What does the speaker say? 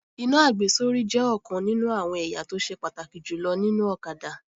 Iná àgbésórí jẹ́ ọ̀kan nínú àwọn ẹ̀yà tó ṣe pàtàkì jùlọ nínú ọ̀kadà